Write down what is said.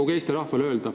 Null!